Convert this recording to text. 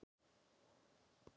En hann helst á veginum.